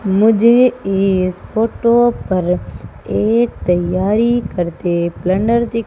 मुझे इस फोटो पर एक तैयारी करते दि--